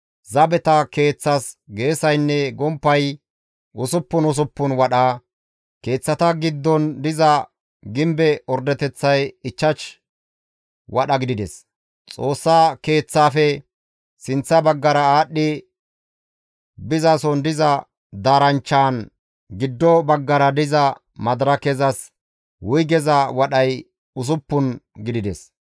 Zabeta keeththas geesaynne gomppay usuppun usuppun wadha, keeththata giddon diza gimbe ordeteththay ichchash wadha gidides; Xoossa Keeththaafe sinththa baggara aadhdhi bizason diza daaranchchan giddo baggara diza madirakezas wuygeza wadhay usuppun gidides.